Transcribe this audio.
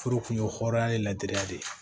Furu kun ye hɔra ye latri de ye